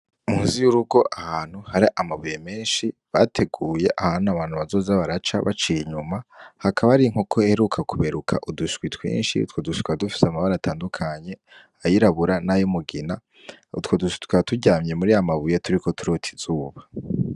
Muzi y'urugo ahantu hari amabuye menshi bateguye ahantu abantu bazoza baraca baciye inyuma hakaba ari nkoko heruka kuberuka udushwi twinshi two dusha twa dufise amabare atandukanye ayirabura n'ayo mugina utwo dusha twa turyamye muri amabuye turi ko turotizuba.